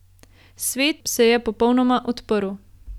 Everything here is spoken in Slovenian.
Svet se je popolnoma odprl.